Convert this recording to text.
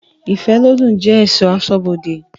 Ifelodun je esọ̀ asọ́bodè